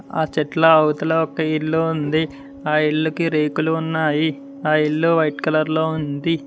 ఆ చెట్ల అవతల ఒక ఇల్లు ఉంది ఆ ఇళ్ళుకి రేకులు ఉన్నాయి ఆ ఇల్లు వైట్ కలర్ లో ఉంది.